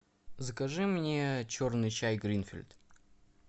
закажи мне черный чай гринфилд